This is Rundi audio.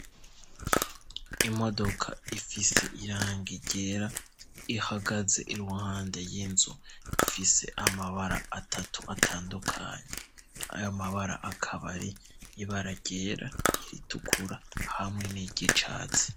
Imodoka ifise irangi ryera ihagaze iruhande y'inzu ifise amabara atatu atandukanya ayo amabara akabari ibara ryera iritukura hamwe n'iryicatsi.